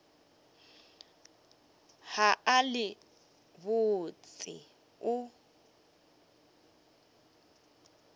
ge a le botse o